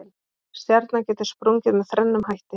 stjarna getur sprungið með þrennum hætti